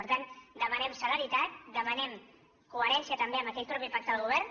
per tant demanem celeritat demanem coherència també amb aquell mateix pacte del govern